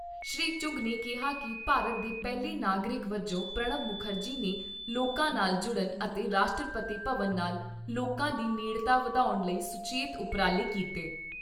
ਸ੍ਰੀ ਚੁੱਘ ਨੇ ਕਿਹਾ ਕਿ ਭਾਰਤ ਦੇ ਪਹਿਲੇ ਨਾਗਰਿਕ ਵਜੋਂ ਪ੍ਰਣਬ ਮੁਖਰਜੀ ਨੇ ਲੋਕਾਂ ਨਾਲ ਜੁੜਣ ਅਤੇ ਰਾਸ਼ਟਰਪਤੀ ਭਵਨ ਨਾਲ ਲੋਕਾਂ ਦੀ ਨੇੜਤਾ ਵਧਾਉਣ ਲਈ ਸੁਚੇਤ ਉਪਰਾਲੇ ਕੀਤੇ।